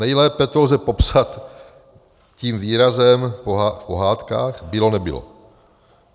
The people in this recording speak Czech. Nejlépe to lze popsat tím výrazem v pohádkách bylo - nebylo.